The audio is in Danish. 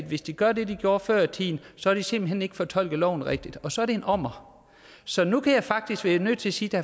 hvis de gør det de gjorde før i tiden så har de simpelt hen ikke fortolket loven rigtigt og så er det en ommer så nu kan jeg faktisk være nødt til sige til